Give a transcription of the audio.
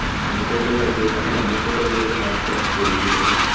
আমি তো ওটাই ভাবছি আমিও এবার থেকে কোথাও বেরোলে mask পরেই বেরবো।